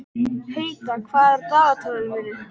Heida, hvað er á dagatalinu í dag?